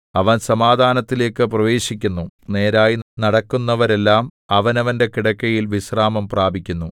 അവൻ സമാധാനത്തിലേക്കു പ്രവേശിക്കുന്നു നേരായി നടക്കുന്നവരെല്ലാം അവനവന്റെ കിടക്കയിൽ വിശ്രാമം പ്രാപിക്കുന്നു